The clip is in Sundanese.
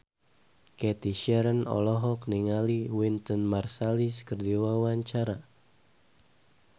Cathy Sharon olohok ningali Wynton Marsalis keur diwawancara